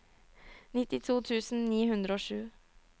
nittito tusen ni hundre og sju